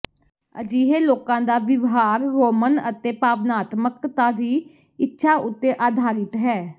ਅਜਿਹੇ ਲੋਕਾਂ ਦਾ ਵਿਵਹਾਰ ਰੋਮਨ ਅਤੇ ਭਾਵਨਾਤਮਕਤਾ ਦੀ ਇੱਛਾ ਉੱਤੇ ਆਧਾਰਿਤ ਹੈ